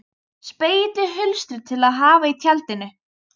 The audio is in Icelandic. Spegill í hulstri til að hafa í tjaldinu.